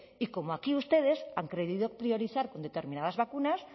y como aquí ustedes han querido priorizar con determinadas vacunas